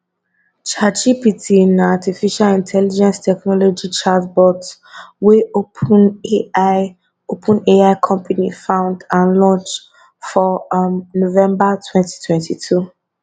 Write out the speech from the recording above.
chatgpt na artificial intelligence technology chatbot wey openai openai company found and launch for um november twenty twenty two